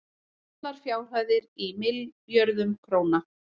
allar fjárhæðir í milljörðum króna